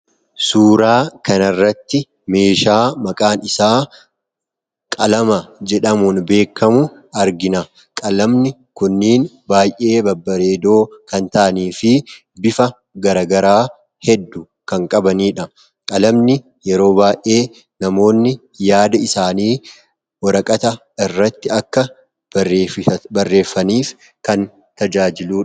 Suuraa kan irratti meeshaa maqaan isaa qalama jedhamuun beekamu argina. Qalamani kunniin baay'ee babbareedoo kan ta'anii fi bifa garagaraa heddu kan qabaniidha. Qalamani yeroo baay'ee namoonni yaada isaanii waraqata irratti akka barressaniif kan tajaajiludha.